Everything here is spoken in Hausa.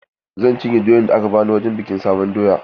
Zan cinye doyan da aka bani wurin bikin sabon doya.